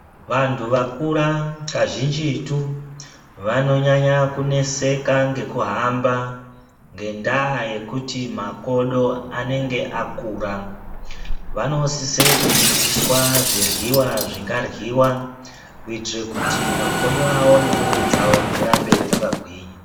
Vantu vakura kazhinjitu vanonyanya kuneseka ngekuhamba ngendaa yekuti makodo anenge akura vanosise kudzidziswa zviryiwa zvingaryiwa kuitire kuti makodo avo nemwiiri dzawo dzirambe dzakagwinya .